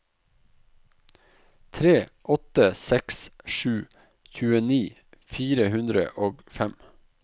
tre åtte seks sju tjueni fire hundre og fem